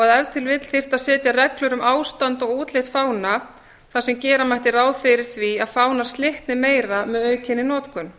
þyrfti að setja reglur um ástand og útlit fána þar sem gera mætti ráð fyrir því að fánar slitni meira með aukinni notkun